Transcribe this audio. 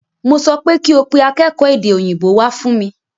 Mo sọ pé kí o pe akékòó èdè òyìnbó wá fún mi!